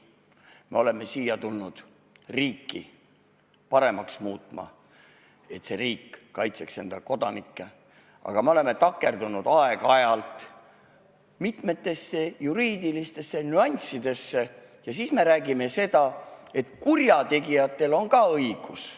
Me oleme siia tulnud riiki paremaks muutma, et see riik kaitseks enda kodanikke, aga me oleme takerdunud aeg-ajalt mitmetesse juriidilistesse nüanssidesse ja siis me räägime seda, et kurjategijatel on ka õigus.